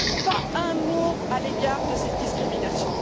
Pas un mot à l'égard de cette discrimination.